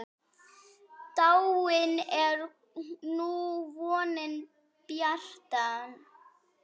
Dáin er nú vonin bjarta.